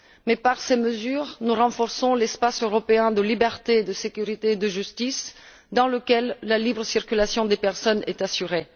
Mais par ces mesures, nous renforçons aussi l'espace européen de liberté, de sécurité et de justice, dans lequel la libre circulation des personnes est assurée.